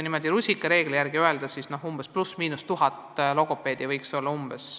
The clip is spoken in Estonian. Niimoodi rusikareegli järgi võiks öelda, et 1000 logopeedi võiks rohkem olla.